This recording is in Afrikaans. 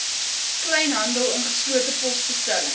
kleinhandel ingeslote posbestellings